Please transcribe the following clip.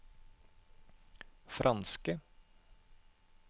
franske